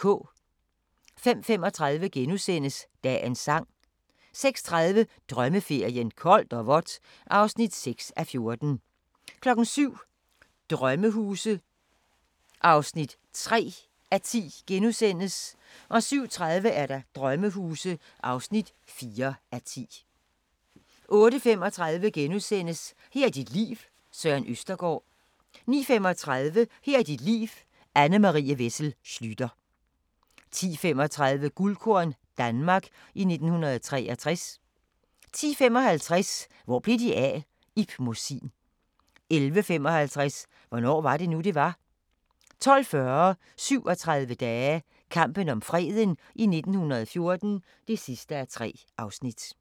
05:35: Dagens Sang * 06:30: Drømmeferien: Koldt og vådt (6:14) 07:00: Sommerhuse (3:10)* 07:30: Sommerhuse (4:10) 08:35: Her er dit liv – Søren Østergaard * 09:35: Her er dit liv – Anne Marie Wessel Schlüter 10:35: Guldkorn - Danmark i 1963 10:55: Hvor blev de af? – Ib Mossin 11:55: Hvornår var det nu, det var? 12:40: 37 dage - kampen om freden i 1914 (3:3)